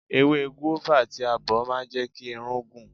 Ewé gúávà tí a bọ̀ ma ń jẹ́ kí irun pọ̀.